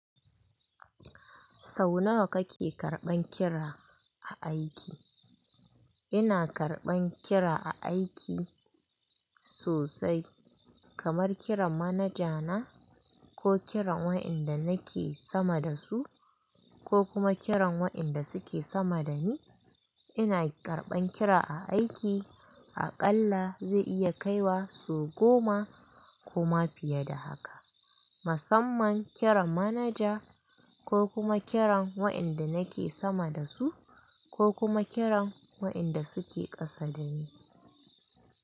Sau nawa kake karɓan kira a aiki? Ina karɓan kira a aiki sosai, kamar kiran manaja na, ko kiran waɗanda nake sama da su, ko kuma kiran waɗanda suke sama da ni. Ina karɓan kira a aiki, aƙalla zai iya kaiwa sau goma ko ma fiye da haka, musamman kiran manaja, ko kuma kiran waɗanda nake sama da su, ko kuma kiran waɗanda suke ƙasa da ni.